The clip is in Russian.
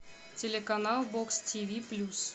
телеканал бокс тиви плюс